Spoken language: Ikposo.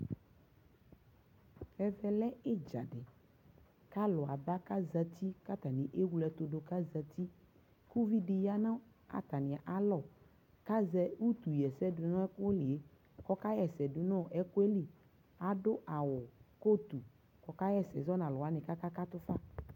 ɛvɛ lɛ idza kʋ alʋ aba kʋ azati kʋ atani ɛwlɛtʋdʋ kʋ azati, ʋvi di yanʋ atami alɔ kʋ azɛʋtʋ yɛsɛ dʋnʋ ayiliɛ kʋ ɔka yɛsɛ dʋnʋ ɛkʋɛ li ,adʋ awʋ coat kʋɔkayɛsɛ zɔnʋ alʋwani kʋaka katʋ ƒa